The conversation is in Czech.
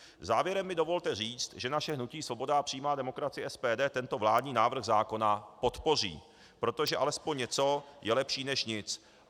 Závěrem mi dovolte říct, že naše hnutí Svoboda a přímá demokracie - SPD tento vládní návrh zákona podpoří, protože alespoň něco je lepší než nic.